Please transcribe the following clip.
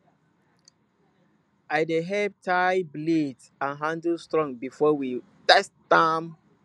i dey help tie blade and handle strong before we test am